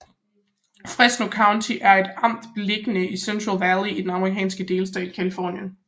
Fresno County er et amt beliggende i Central Valley i den amerikanske delstat Californien